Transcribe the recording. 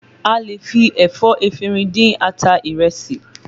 A lè fi ẹ̀fọ́ efinrin dín ata ìrẹsì